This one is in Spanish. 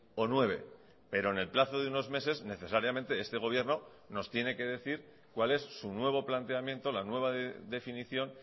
o nueve pero en el plazo de unos meses necesariamente este gobierno nos tiene que decir cuál es su nuevo planteamiento la nueva definición